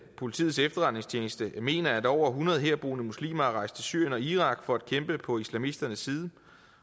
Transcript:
politiets efterretningstjeneste mener at over hundrede herboende muslimer er rejst til syrien og irak for at kæmpe på islamisternes side